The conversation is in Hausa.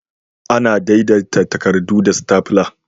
Ana daidaita takarɗu da "Stapler".